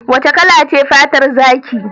Wace kala ce fatar zaki?